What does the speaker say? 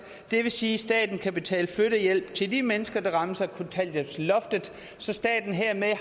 det vil sige at staten kan betale flyttehjælp til de mennesker der rammes af kontanthjælpsloftet så staten hermed